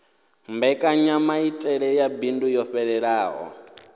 mbekanyamaitele ya bindu yo fhelelaho